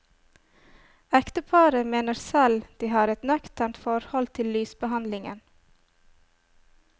Ekteparet mener selv de har et nøkternt forhold til lysbehandlingen.